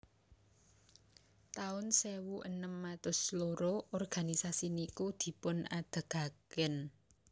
taun sewu enem atus loro organisasi niku dipun adegaken